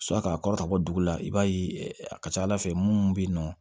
k'a kɔrɔ ka bɔ dugu la i b'a ye a ka ca ala fɛ mun bɛ yen nɔ